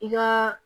I ka